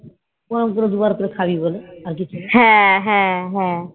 ওরম করে দুবার ধরে খাবি বলে আর কিছুনা